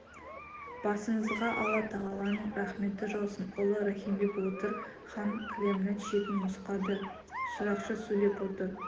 басыңызға алла тағаланың рахметі жаусын ұлы рахимбек отыр хан кілемнің шетін нұсқады шырақшы сөйлеп отыр